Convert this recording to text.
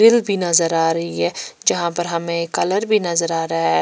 भी नजर आ रही है जहां पर हमें कलर भी नजर आ रहा है।